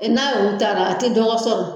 N'aw yuru taara a tɛ dɔgɔ sɔrɔ.